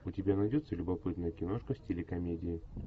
у тебя найдется любопытная киношка в стиле комедии